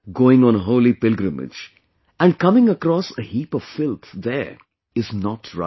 Going on a holy pilgrimage and coming across a heap of filth there is not right